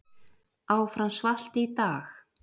Áfram svalt í dag